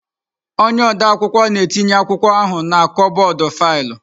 Onye ode akwụkwọ na-etinye akwụkwọ ahụ na kọbọd faịlụ.